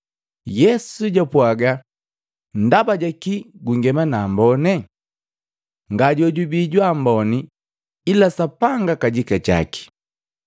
Yesu japwaaga, “Ndaba jakii gungema nambone? Ngajojubii jwa amboni ila Sapanga kajika jaki.